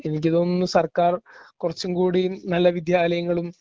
എനിക്ക് തോന്നുന്നു സർക്കാർ കുറച്ചും കൂടി നല്ല വിദ്യാലയങ്ങളും